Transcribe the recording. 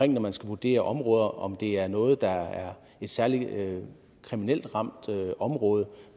når man skal vurdere områder altså om det er noget der er et særligt kriminelt ramt område